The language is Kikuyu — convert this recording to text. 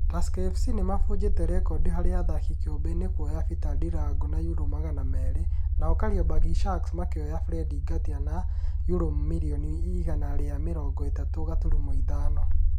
Tusker FC nĩ mabunjire rekondi harĩ athaki kĩũmbe nĩ kuoya Peter Ndirangũ na yurũ magana merĩ, nao Kariobangi Sharks makĩoya Fred Ngatia na yurũ mirioni igana rĩa mĩrongo ĩtatu gaturuma ithano